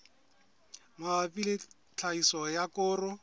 mabapi le tlhahiso ya koro